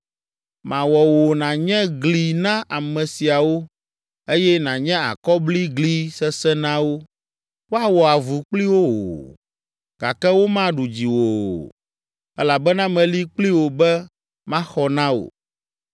Mawɔ wò nànye gli na ame siawo eye nànye akɔbligli sesẽ na wo. Woawɔ avu kpli wò, gake womaɖu dziwò o, elabena meli kpli wò be maxɔ na wò.